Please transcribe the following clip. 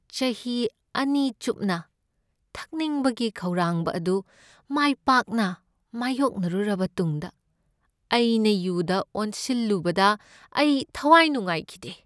ꯆꯍꯤ ꯑꯅꯤ ꯆꯨꯞꯅ ꯊꯛꯅꯤꯡꯕꯒꯤ ꯈꯧꯔꯥꯡꯕ ꯑꯗꯨ ꯃꯥꯏ ꯄꯥꯛꯅ ꯃꯥꯢꯌꯣꯛꯅꯔꯨꯔꯕ ꯇꯨꯡꯗ ꯑꯩꯅ ꯌꯨꯗ ꯑꯣꯟꯁꯤꯜꯂꯨꯕꯗ ꯑꯩ ꯊꯋꯥꯏ ꯅꯨꯡꯉꯥꯏꯈꯤꯗꯦ꯫